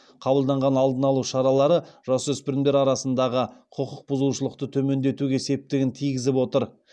қабылданған алдын алу шаралары жасөспірімдер арасындағы құқық бұзушылықты төмендетуге септігін тигізіп отыр